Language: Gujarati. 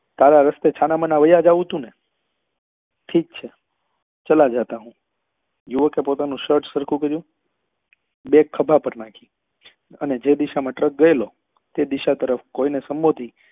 તારા રસ્તે છાના માના વાયા જવું ટુ ને ઠીક છે ચલા જાતા હું યુવકે પોતાનું શર્ટ સરખું કર્યું bag ખભા પર નાખી ને જે દિશા માં ટ્રક ગયેલો એ દિશા તરફ કોઈ ને સંબોધી